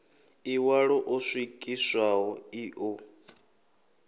ḽiṋwalo ḽo swikiswaho ḽi ḓo